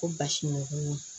Ko basi